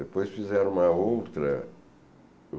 Depois fizeram uma outra.